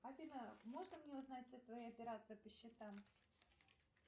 афина можно мне узнать все свои операции по счетам